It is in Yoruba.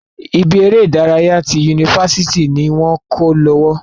Ibi eré ìdárayá ti yunifásítì ni wọn kọ lọwọ.